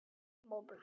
Eruð þið saman?